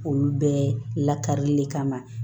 Olu bɛɛ lakarili le kama